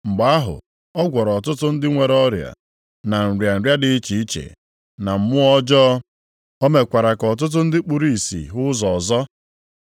Mgbe ahụ ọ gwọrọ ọtụtụ ndị nwere ọrịa, na nrịa nrịa dị iche iche, na mmụọ ọjọọ. O mekwara ka ọtụtụ ndị kpuru ìsì hụ ụzọ ọzọ.